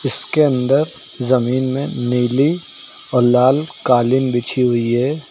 इसके अंदर जमीन में नीली और लाल कालीन बिछी हुई है।